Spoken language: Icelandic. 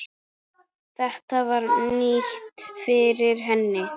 Þetta var nýtt fyrir henni.